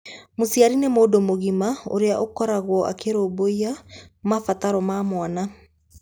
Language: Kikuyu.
Mũciari nĩ mũndũ mũgima ũrĩa ũkoragwo akĩrũmbũiya mabataro ma mwana.